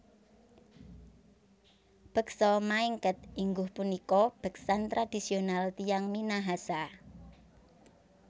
Beksa Maengket ingguh punika beksan tradisional tiyang Minahasa